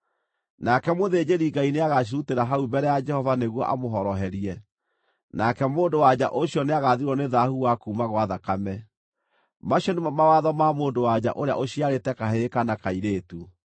Nake mũthĩnjĩri-Ngai nĩagacirutĩra hau mbere ya Jehova nĩguo amũhoroherie, nake mũndũ-wa-nja ũcio nĩagathirwo nĩ thaahu wa kuuma gwa thakame. “ ‘Macio nĩmo mawatho ma mũndũ-wa-nja ũrĩa ũciarĩte kahĩĩ kana kairĩtu.